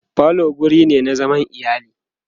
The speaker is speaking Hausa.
falo wurine na zaman iyali